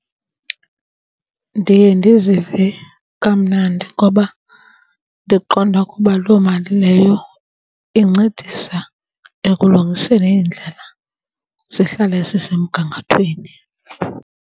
Ndiye ndizive kamnandi ngoba ndiqonda ukuba loo mali leyo incedisa ekulungiseni iindlela zihlale zisemgangathweni.